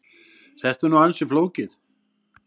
Þetta er nú ansi flókið.